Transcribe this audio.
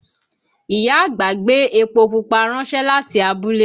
Ìyá àgbà gbé epo pupa ránṣẹ́ láti abúlé